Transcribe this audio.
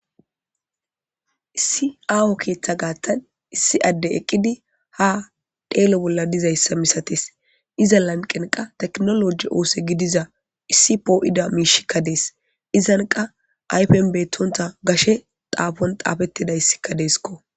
Issi aho keetha Gatha issi addey eqidi ha xello bolla dizaysa misates iza lanqenka tekinoloje oso gidiza issi po'ida mishiyka dees. Pizza qa ayfen bettonta gashe xuppetida xupponi xapetidaysi deesikko